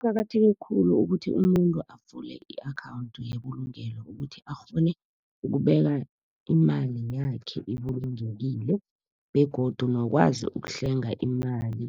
Kuqakatheke khulu ukuthi umuntu avule i-akhawunthi yebulungelo ukuthi akghone, ukubeka imali yakhe ibulungekile begodu nokwazi ukuhlenga imali